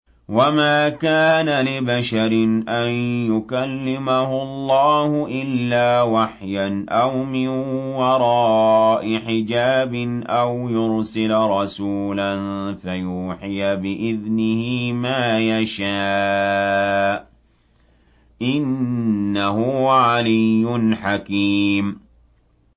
۞ وَمَا كَانَ لِبَشَرٍ أَن يُكَلِّمَهُ اللَّهُ إِلَّا وَحْيًا أَوْ مِن وَرَاءِ حِجَابٍ أَوْ يُرْسِلَ رَسُولًا فَيُوحِيَ بِإِذْنِهِ مَا يَشَاءُ ۚ إِنَّهُ عَلِيٌّ حَكِيمٌ